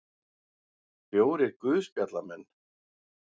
Fjórir guðspjallamenn.